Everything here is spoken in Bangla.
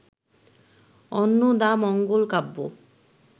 অন্নদামঙ্গল কাব্য